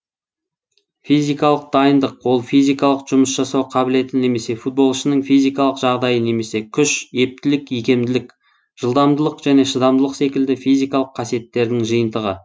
физикалық дайындық ол физикалық жұмыс жасау қабілеті немесе футболшының физикалық жағдайы немесе күш ептілік икемділік жылдамдылық және шыдамдылық секілді физикалық қасиеттердің жиынтығы